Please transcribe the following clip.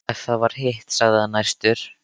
Ef það var hitt, sagði hann æstur: